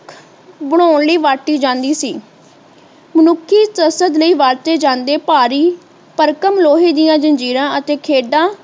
ਬਨਾਉਣ ਲਈ ਵਰਤੀ ਜਾਂਦੀ ਸੀ ਮਨੁੱਖੀ ਕਸਰਤ ਲਈ ਵਰਤੇ ਜਾਂਦੇ ਭਾਰੀ ਭਰਕਮ ਲੋਹੇ ਦੀਆਂ ਜੰਜ਼ੀਰਾਂ ਅਤੇ ਖੇਡਾਂ